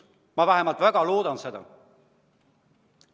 Ma vähemalt väga loodan seda.